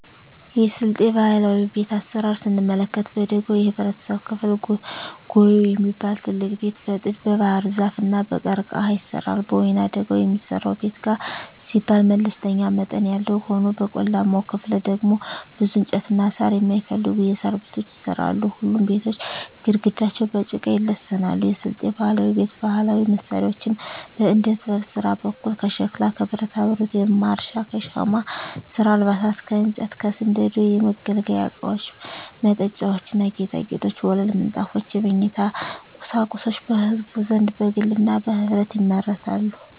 የስልጤ ባህላዊ ቤት አሰራር ስንመለከት በደጋው የህብረተሰብ ክፍል ጉዬ የሚባል ትልቅ ቤት በጥድ, በባህርዛፍ እና በቀርቀሀ ይሰራል። በወይናደጋው የሚሰራው ቤት ጋር ሲባል መለስተኛ መጠን ያለው ሆኖ በቆላማው ክፍል ደግሞ ብዙ እንጨትና ሳር የማይፈልጉ የሣር ቤቶች ይሰራሉ። ሁሉም ቤቶች ግድግዳቸው በጭቃ ይለሰናሉ። የስልጤ ባህላዊ ቤት ባህላዊ መሳሪያዎች በዕደጥበብ ስራ በኩል ከሸክላ ከብረታብረት (ማረሻ) ከሻማ ስራ አልባሳት ከእንጨት ከስንደዶ የመገልገያ እቃወች መጠጫዎች ና ጌጣጌጦች ወለል ምንጣፎች የመኝታ ቁሳቁሶች በህዝቡ ዘንድ በግልና በህብረት ይመረታሉ።